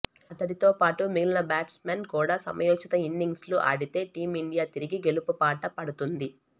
అతడితో పాటు మిగిలిన బ్యాట్స్మెన్ కూడా సమయోచిత ఇన్నింగ్స్లు ఆడితే టీమిండియా తిరిగి గెలుపుబాట పడుతుంది